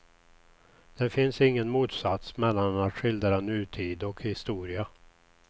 Det finns ingen motsats mellan att skildra nutid och historia.